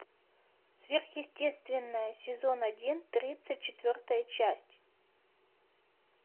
сверхъестественное сезон один тридцать четвертая часть